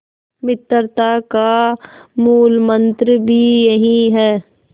मित्रता का मूलमंत्र भी यही है